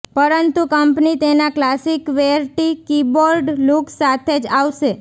પરંતુ કંપની તેના classy qwerty keyboard look સાથે જ આવશે